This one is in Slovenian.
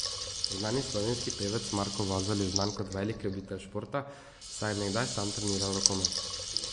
Znani slovenski pevec Marko Vozelj je znan kot velik ljubitelj športa, saj je nekdaj sam treniral rokomet.